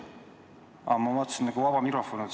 Aa, ma mõtlesin, et nagu vaba mikrofon on.